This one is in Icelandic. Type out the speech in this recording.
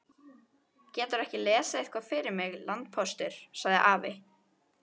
Geturðu ekki lesið eitthvað fyrir mig, landpóstur, sagði afi.